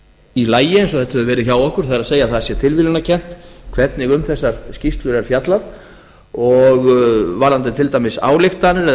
í lagi eins og þetta hefur verið hjá okkur það er að það sé tilviljunarkennt hvernig um þessar skýrslur er fjallað og varðandi til dæmis ályktanir eða